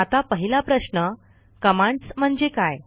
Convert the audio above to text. आता पहिला प्रश्न कमांड्स म्हणजे काय